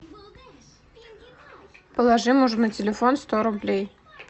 положи мужу на телефон сто рублей